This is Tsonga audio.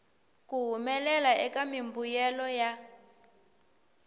ku humelela eka mimbuyelo ya